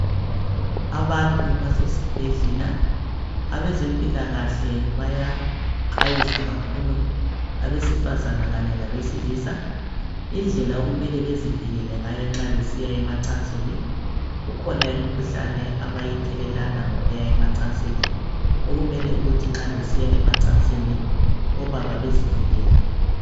Abantu basesibhedlela abezempilakahle bayaxwayisa kakhulu abesifazana kanye labesilisa indlela okumele bezivikele ngayo nxa besiya emacansini .kukhona imikhuhlane abayithelelana ngokuya emacansini .Okumele ukuthi nxa besiya emacansini obaba bezivikele .